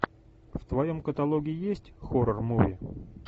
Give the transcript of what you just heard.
в твоем каталоге есть хоррор муви